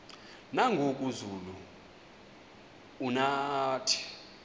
nangoku zulu uauthi